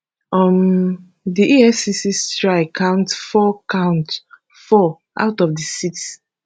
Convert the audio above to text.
um di efcc strike counts four counts four out of di six